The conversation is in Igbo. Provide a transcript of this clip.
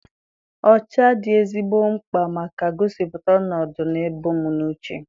Ọcha dị ezigbo mkpa maka gosipụta ọnọdụ na ebu m n'uche.